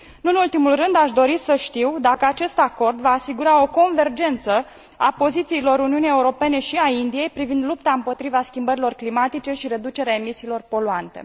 Nu în ultimul rând, aș dori să știu dacă acest acord va asigura o convergență a pozițiilor Uniunii Europene și ale Indiei privind lupta împotriva schimbărilor climatice și reducerea emisiilor poluante.